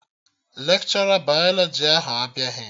Lekshọra bayalọjị ahụ abịaghị